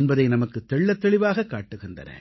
என்பதை நமக்குத் தெள்ளத்தெளிவாகக் காட்டுகின்றன